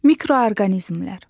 Mikroorqanizmlər.